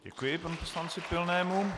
Děkuji panu poslanci Pilnému.